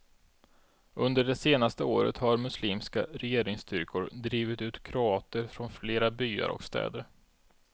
Under det senaste året har muslimska regeringsstyrkor drivit ut kroater från flera byar och städer.